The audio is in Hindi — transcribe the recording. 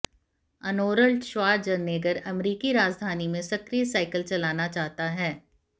अर्नोल्ड श्वार्ज़नेगर अमेरिकी राजधानी में सक्रिय साइकिल चलाना चाहता है